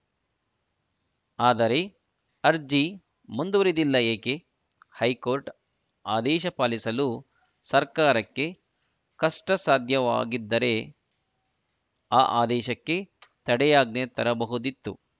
ಆದರೆ ಅರ್ಜಿ ಮುಂದುವರಿದಿಲ್ಲ ಏಕೆ ಹೈಕೋರ್ಟ್‌ ಆದೇಶ ಪಾಲಿಸಲು ಸರ್ಕಾರಕ್ಕೆ ಕಷ್ಟಸಾಧ್ಯವಾಗಿದ್ದರೆ ಆ ಆದೇಶಕ್ಕೆ ತಡೆಯಾಜ್ಞೆ ತರಬಹುದಿತ್ತು